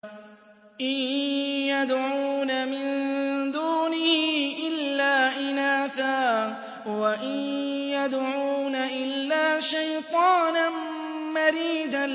إِن يَدْعُونَ مِن دُونِهِ إِلَّا إِنَاثًا وَإِن يَدْعُونَ إِلَّا شَيْطَانًا مَّرِيدًا